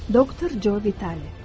Doktor Joe Vitale.